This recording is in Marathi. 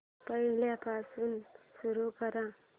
पहिल्यापासून सुरू कर